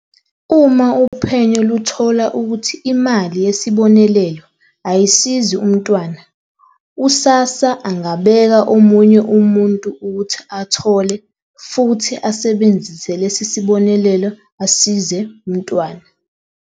"Uma uphenyo luthola ukuthi imali yesibonelelo ayisizi umntwana, u-SASSA angabeka omunye umuntu ukuthi athole futhi asebenzise lesi sibonelelo asize umntwana."